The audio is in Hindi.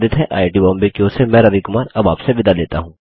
आईआईटी बॉम्बे की ओर से मैं रवि कुमार अब आप से विदा लेता हूँ